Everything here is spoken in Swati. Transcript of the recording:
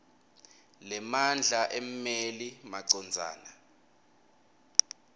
lemandla emmeli macondzana